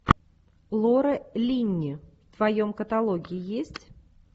лора линни в твоем каталоге есть